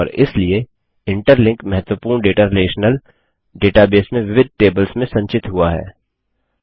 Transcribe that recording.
और इसलिए इंटरलिंक महत्वपूर्ण डेटा रिलेशनल डेटाबेस में विविध टेबल्स में संचित हुआ है